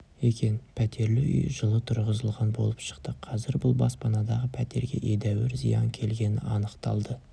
екен пәтерлі үй жылы тұрғызылған болып шықты қазір бұл баспанадағы пәтерге едәуір зиян келгені анықталды